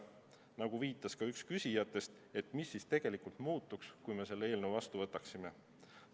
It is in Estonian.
Nagu viitas ka üks küsijatest, et mis siis tegelikult muutuks, kui me selle eelnõu vastu võtaksime.